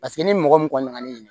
Paseke n'i ni mɔgɔ min kɔni nana ne